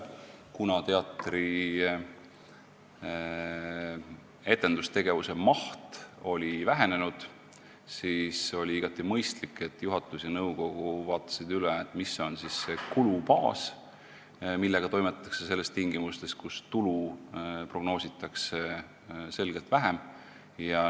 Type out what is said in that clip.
Kuna teatri etendustegevuse maht oli vähenenud, siis oli igati mõistlik, et juhatus ja nõukogu vaatasid üle, mis on see kulubaas, millega toimetatakse tingimustes, kus tulu prognoositakse selgelt vähem.